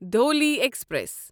Dhauli express